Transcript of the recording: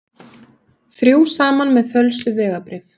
Þrjú saman með fölsuð vegabréf